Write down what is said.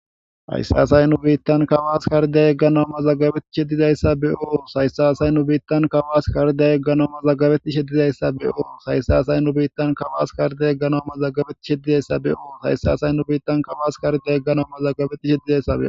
hayssaasay nu biittan kawaas karday egganamma zagabetishe didayssa be7oo sayssa asay nu biittan kawaas karday egganooma zagabeti she didayssa be7oo sayssa asay nu biittan kawaas karday egganoma zaggabeti she didayssa beoo haysaasay nu biittan kawaas karday egganomma zaggabeti she didayssae